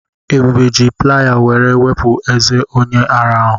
Ebube ji playa were wepụ ezé onye ara ahụ.